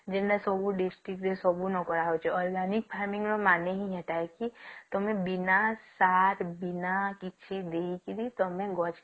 ଦିନେ ସବୁ district ରେ ସବୁ ନ କରା ହଉଛି ଆଉ farming ର ମାନେ ହିଁ ସେଇଟା ହେଇଛି ତଆମେ ବିନା ସାର ବିନା କିଛି ଦେଇକିରୀ ତଆମେ ଗଛ କେ